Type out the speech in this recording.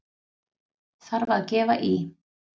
Þarf að gefa í!